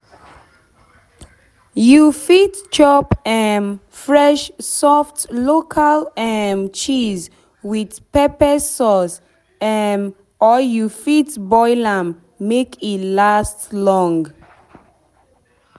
you fit chop um fresh soft local um cheese with pepper sauce um or you fit boil am make e last long